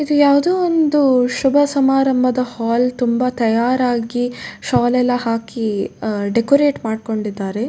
ಇಲ್ಲಿ ಯಾವ್ದೋ ಒಂದು ಶುಭ ಸಮಾರಂಭದ ಹಾಲ್ ತುಂಬಾ ತಯಾರಾಗಿ ಶಾಲ್ ಎಲ್ಲ ಹಾಕಿ ಡೆಕೋರಟ್ ಮಾಡ್ಕೊಂಡಿದ್ದಾರೆ.